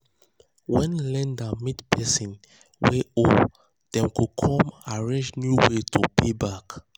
when lender meet person wey owe dem come arrange new way to pay back.